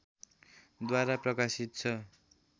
द्वारा प्रकाशित छ